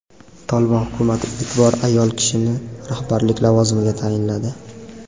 "Tolibon" hukumati ilk bor ayol kishini rahbarlik lavozimiga tayinladi.